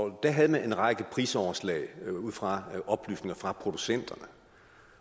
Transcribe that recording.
da havde man en række prisoverslag ud fra oplysninger fra producenterne